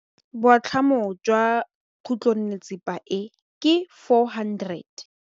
Boatlhamô jwa khutlonnetsepa e, ke 400.